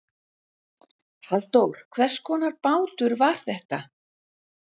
Halldór hvers konar bátur var þetta?